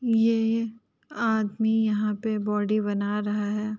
ये आदमी यहाँ पे बॉडी बना रहा है।